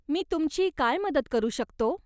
मी तुमची काय मदत करू शकतो?